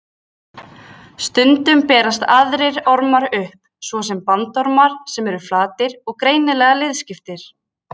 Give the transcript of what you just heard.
Stundum berast aðrir ormar upp, svo sem bandormar sem eru flatir og greinilega liðskiptir.